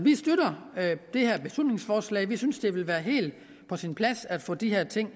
det her beslutningsforslag vi synes det vil være helt på sin plads at få de her ting